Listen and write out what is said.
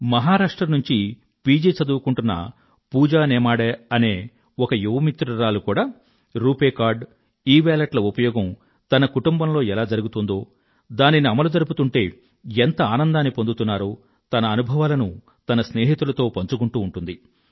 మహారాష్ట్ర నుండీ పిజి చదువుకుంటున్న పూజా నేమాడే అనే ఒక యువ మిత్రురాలు కూడా రూపే కార్డ్ ఇవేలెట్ ల ఉపయోగం తన కుటుంబంలో ఎలా జరుగుతోందో దానిని అమలుజరుపుతుంటే ఎంత ఆనందాన్ని పొందుతున్నారో తన అనుభవాలను తన స్నేహితులతో పంచుకుంటూ ఉంటుంది